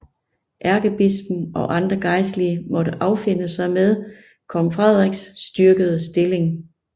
Ærkebispen og andre gejstlige måtte affinde sig med kong Frederiks styrkede stilling